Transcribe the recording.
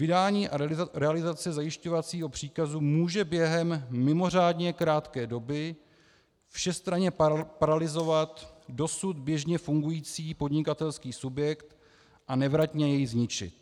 Vydání a realizace zajišťovacího příkazu může během mimořádně krátké doby všestranně paralyzovat dosud běžně fungující podnikatelský subjekt a nevratně jej zničit.